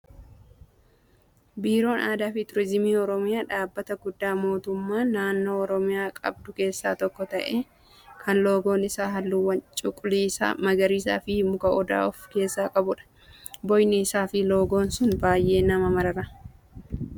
Biiroon aadaa fi turizimii oromiyaa dhaabbata guddaa mootummaan naannoo oromiyaa qabdu keessaa tokko ta'ee kan loogoon isaa halluuwwan cuquliisa, magariisaa fi muka odaa of keessaa qabudha. Bocni isaa fi loogoon sun baay'ee nama marara.